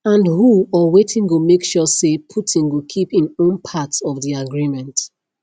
and who or wetin go make sure say putin go keep im own part of di agreement